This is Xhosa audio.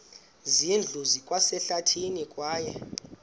zindlu zikwasehlathini kwaye